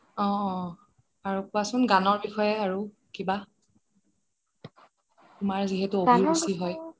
অ অ আৰু কোৱা চোন গানৰ বিষয়ে কিবা তোমাৰ যিহেতু অভিৰুছি হয়